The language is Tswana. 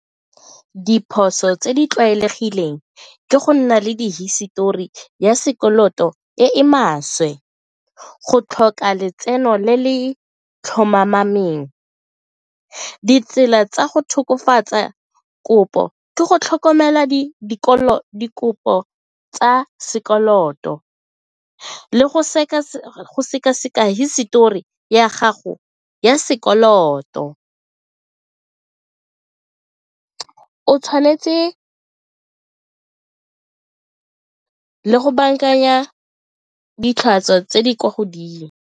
Diphoso tse di tlwaelegileng ke go nna le di hisetori ya sekoloto e e maswe, go tlhoka letseno le le . Ditsela tsa go tokafatsa kopo ke go tlhokomela dikopo tsa sekoloto le go sekaseka hisetori ya gago ya sekoloto, o tshwanetse le go bankanya tse di kwa godimo.